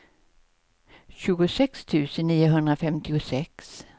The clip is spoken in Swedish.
tjugosex tusen niohundrafemtiosex